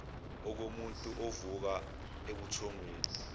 okomuntu ovuka ebuthongweni